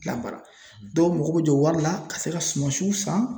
Labaara dɔw mako bɛ jɔ wari la ka se ka sumasiw san